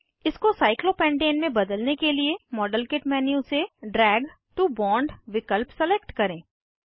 इसको साइक्लोपेंटेन में बदलने के लिए मॉडलकिट मेन्यू से ड्रैग टो बोंड विकल्प सिलेक्ट करें